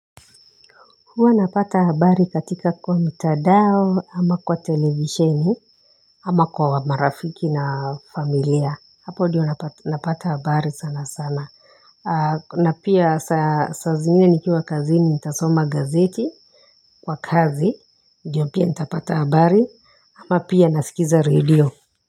Huwa napata habari katika kwa mtandao ama kwa televisheni ama kwa marafiki na familia hapo ndiyo napata habari sana sana na pia saa zingine nikiwa kazi ni ntasoma gazeti kwa kazi ndiyo pia ntapata habari ama pia nasikiza radio.